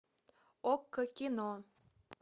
окко кино